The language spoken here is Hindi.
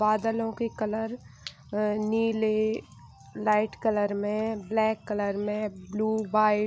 बादलों के कलर अ नीले लाइट कलर में ब्लैक कलर में ब्लू वाइट --